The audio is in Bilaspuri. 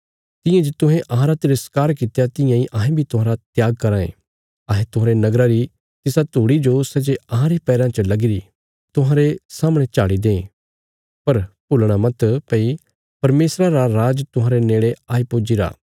तियां जे तुहें अहांरा तिरस्कार कित्या तियां इ अहें बी तुहांरा त्याग कराँ ये अहें तुहांरे नगरा री तिसा धूड़ी जो सै जे अहांरे पैराँ च लगीरी तुहांरे सामणे झाड़ी दें पर भूलणा मत भई परमेशरा रा राज तुहांरे नेड़े आई पुज्जीरा